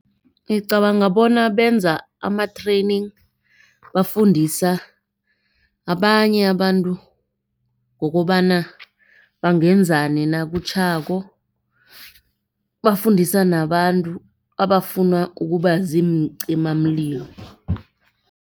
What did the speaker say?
Ngicabanga bona benza ama-training. Bafundisa abanye abantu ngokobana bangenzani nakutjhako. Bafundisa nabantu abafuna ukuba baziincimamlilo.